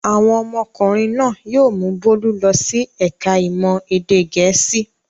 Àwọn ọmọkùnrin náà yóò mú Bólú lọ sí ẹ̀ka-ìmọ̀ èdè Gẹ̀ẹ́sì.